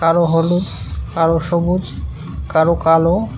কারো হলুদ কারো সবুজ কারো কালো--